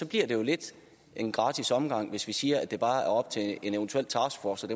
bliver det jo lidt en gratis omgang hvis vi siger at det bare er op til en eventuel taskforce